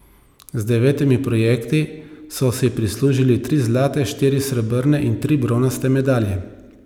Z devetimi projekti so si prislužili tri zlate, štiri srebrne in tri bronaste medalje.